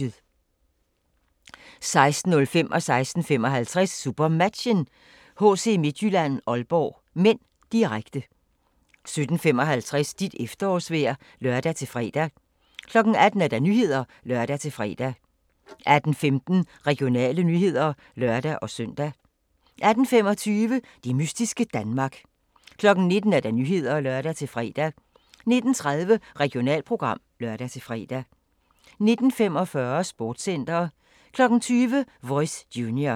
16:05: SuperMatchen: HC Midtjylland-Aalborg (m), direkte 16:55: SuperMatchen: HC Midtjylland-Aalborg (m), direkte 17:55: Dit efterårsvejr (lør-fre) 18:00: Nyhederne (lør-fre) 18:15: Regionale nyheder (lør-søn) 18:25: Det mystiske Danmark 19:00: Nyhederne (lør-fre) 19:30: Regionalprogram (lør-fre) 19:45: Sportscenter 20:00: Voice Junior